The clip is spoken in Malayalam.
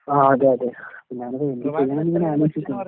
ആഹ് അതെയതെ. ഞങ്ങള്‍ എന്ത് ചെയ്യൂന്ന് ഇങ്ങനെ ആലോചിച്ച് നിക്കുന്നു